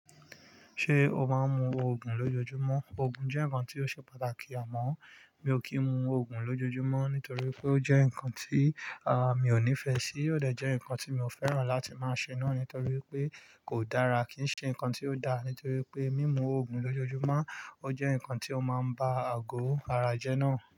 Ṣé o máa ń mu ògùn lójoojúmọ́? Ògùn jẹ́ nǹkan tí ó ṣe pàtàkì àmọ́ mi ò kí ń mu ògùn lójoojúmọ́ nítorí pé ó jẹ́ nǹkan tí, à, mi ò nífẹ̀ẹ́ sí. Ó dẹ̀ jẹ́ nǹkan tí mi ò fẹ́ràn láti máa ṣe náà nítorí pé kò dára, kì í ṣe nǹkan tí ó da nítorí pé mímu ògùn lójoojúmọ́ ó jẹ́ nǹkan tí ó máa ń ba àgò ara jẹ́ náà.